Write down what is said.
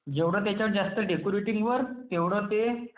जेवढा जास्त त्याच्यावर डेकोरेटिव्ह वर्क तेवढं ते...